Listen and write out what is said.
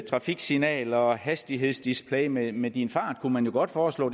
trafiksignaler og hastighedsdisplay med med din fart kunne man jo godt foreslå